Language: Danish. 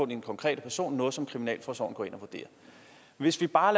den konkrete person noget som kriminalforsorgen går ind og vurderer hvis vi bare